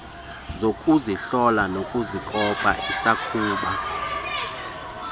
zokuzihlola nokuzikopa isakuba